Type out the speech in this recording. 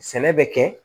Sɛnɛ bɛ kɛ